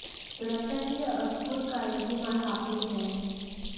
सुरक्षा की यह अद्भुत गारंटी हमारे हाथों में है